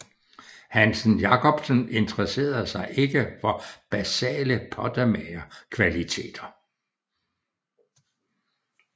Hansen Jacobsen interesserede sig ikke for basale pottemagerkvaliteter